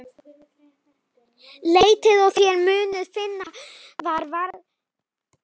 Leitið og þér munuð finna, var reglan sem gilti.